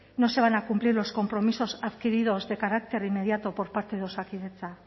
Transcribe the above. no se van a cumplir los compromisos adquiridos de carácter inmediato por parte de osakidetza